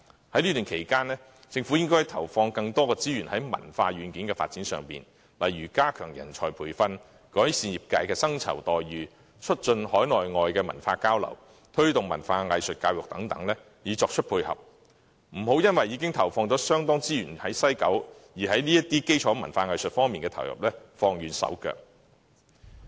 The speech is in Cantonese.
在這段期間，政府應該投放更多資源於文化軟件發展，例如加強人才培訓、改善業界薪酬待遇、促進海內外文化交流，以及推動文化藝術教育等以作配合，不要因為已經投放了相當資源在西九文化區，便在基礎文化藝術的投入上放慢手腳。